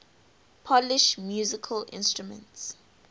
polish musical instruments